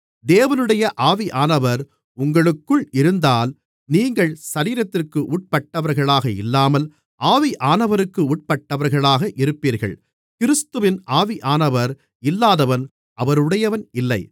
தேவனுடைய ஆவியானவர் உங்களுக்குள் இருந்தால் நீங்கள் சரீரத்திற்கு உட்பட்டவர்களாக இல்லாமல் ஆவியானவருக்கு உட்பட்டவர்களாக இருப்பீர்கள் கிறிஸ்துவின் ஆவியானவர் இல்லாதவன் அவருடையவன் இல்லை